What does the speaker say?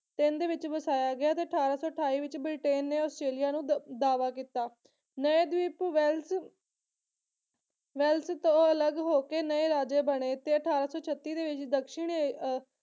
ਤਿੰਨ ਦੇ ਵਿੱਚ ਵਸਾਇਆ ਗਿਆ ਤੇ ਅਠਾਰਾਂ ਸੌ ਅਠਾਈ ਵਿੱਚ ਬ੍ਰਿਟੇਨ ਨੇ ਆਸਟ੍ਰੇਲੀਆ ਨੂੰ ਦ ਦਾਅਵਾ ਕੀਤਾ। ਨਏ ਦੀਪ ਵੈਲਸ ਵੈਲਸ ਤੋਂ ਅਲੱਗ ਹੋਕੇ ਨਏ ਰਾਜੇ ਬਣੇ ਅਠਾਰਾਂ ਸੌ ਛੱਤੀ ਤੇ ਵਿੱਚ ਦਕਸ਼ਣੀ ਏ